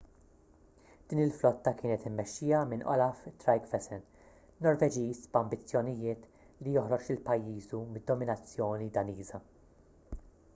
din il-flotta kienet immexxija minn olaf trygvasson norveġiż b'ambizzjonijiet li joħroġ lil pajjiżu mid-dominazzjoni daniża